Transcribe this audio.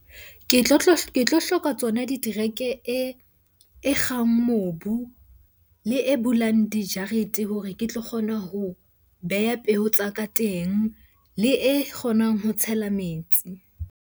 Ke tlo hloka tsona e kgang mobu le e bulang dijarete hore ke tlo kgona ho beha peo tsa ka teng. Le e kgonang ho tshela metsi.